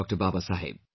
Baba Saheb